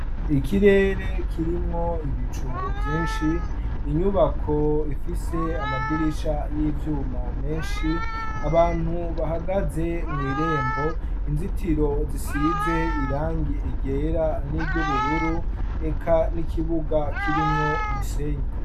Ikirere kirimwo ibicu vyinshi inyubako ifise amadirisha y'ivyuma menshi abantu bahagaze mw'irembo inzitiro zisize irangi igera n'iryo ubururu eka n'ikibuga kirimwo umusenyi.